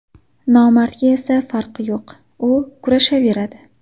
Nomardga esa farqi yo‘q, u kurashaveradi.